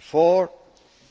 four,